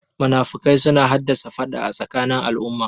Munafukai suna hassada faɗa a tsakanin al'umma